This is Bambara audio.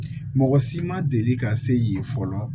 Mɔgɔ si ma deli ka se yen fɔlɔ